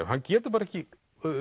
hann getur ekki